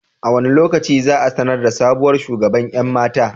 A wane lokaci za a sanar da sabuwar shugaban 'yan mata?